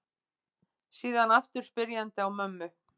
Síðan aftur spyrjandi á mömmu.